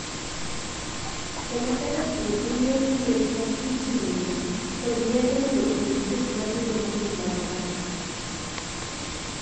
Chemotherapy' en yor thieth ma itiye kod yedhe mondo oneg chuech matindo mogik mag kansa.